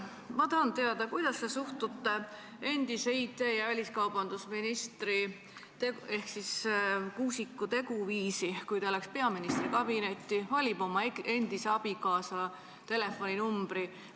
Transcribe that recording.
Ma tahan teada, kuidas te suhtute endise väliskaubandus- ja IT-ministri Kuusiku teguviisi, kui ta läks peaministri kabinetti ja valis oma endise abikaasa telefoninumbri.